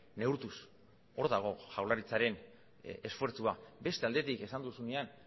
neurtuz hor dago jaurlaritzaren esfortzua beste aldetik esan duzunean